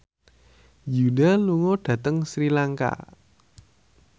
Yoona lunga dhateng Sri Lanka